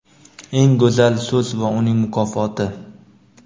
Eng go‘zal so‘z va uning mukofoti!.